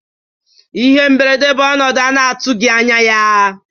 Ihe mberede bụ ọnọdụ a na-atụghị anya ya.